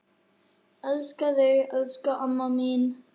Elska þig, elsku amma mín.